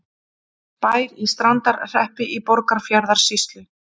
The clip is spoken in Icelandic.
Bær í Strandarhreppi í Borgarfjarðarsýslu.